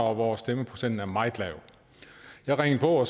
og hvor stemmeprocenten er meget lav jeg ringede på og